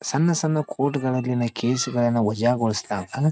ಸಣ್ಣ ಸಣ್ಣ ಕೋರ್ಟ್ಗಳಲ್ಲಿನ ಕೇಸ್ ಗಳನ್ನ ವಾಜ ಗೋಲ್ಸಲಾಗ್ತ್.